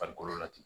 Farikolo la ten